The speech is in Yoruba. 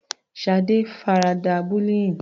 Shade farada bullying.